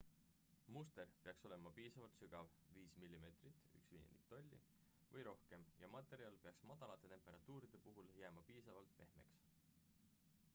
muster peaks olema piisavalt sügav 5 mm 1/5 tolli või rohkem ja materjal peaks madalate temperatuuride puhul jääma piisavalt pehmeks